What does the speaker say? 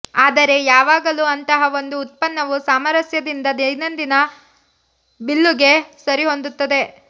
ಆದರೆ ಯಾವಾಗಲೂ ಅಂತಹ ಒಂದು ಉತ್ಪನ್ನವು ಸಾಮರಸ್ಯದಿಂದ ದೈನಂದಿನ ಬಿಲ್ಲುಗೆ ಸರಿಹೊಂದುತ್ತದೆ